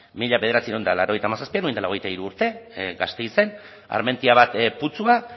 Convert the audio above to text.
mila bederatziehun eta laurogeita hamazazpian orain dela hogeita hiru urte gasteizen armentia bat putzua